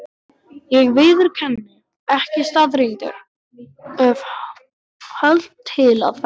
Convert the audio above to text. Ég viðurkenni ekki staðreyndir: of hölt til að ferðast.